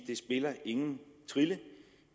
det spiller ingen trille